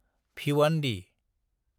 Bhiwandi